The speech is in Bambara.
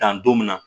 Dan don min na